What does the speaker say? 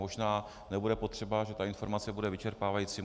Možná nebude potřeba, že ta informace bude vyčerpávající.